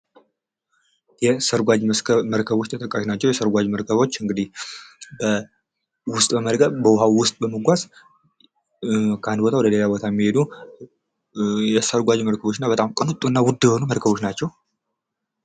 መኪናዎች ለግል ጥቅም ሲውሉ ባቡሮችና አውቶቡሶች ደግሞ ብዙ ሰዎችን በአንድ ጊዜ ያጓጉዛሉ። አውሮፕላኖች ደግሞ ርቀቶችን በፍጥነት ያቋርጣሉ